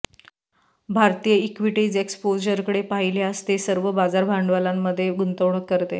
भारतीय इक्विटीज एक्स्पोजरकडे पाहिल्यास ते सर्व बाजार भांडवलामध्ये गुंतवणूक करते